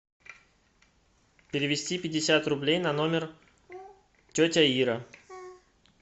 перевести пятьдесят рублей на номер тетя ира